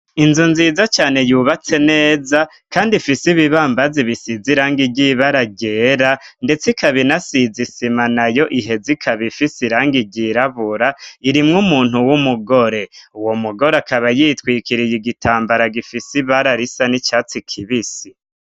Inzu nziza cane yubatse neza kandi ifise ibibambazi bisize irangi ry' ibara ryera, ndetse ikaba inasize isima nayo iheza ikaba ifise irangi ryirabura, irimwo umuntu w'umugore. Uwo mugore akaba yitwikiriye igitambara gifise ibara risa n'icatsi kibisi.